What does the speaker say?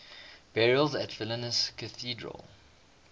burials at vilnius cathedral